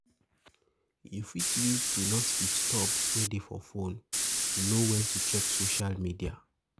You fit use Do Not Disturb wey dey for phone to know when to check social media